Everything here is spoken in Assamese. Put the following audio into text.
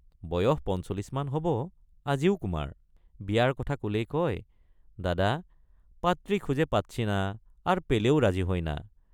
বয়স ৪৫ মান হবআজিও কুমাৰ বিয়াৰ কথা কলেই কয় দাদা পাত্ৰী খুজে পাচ্ছি না আৰ পেলেও ৰাজী হয় না।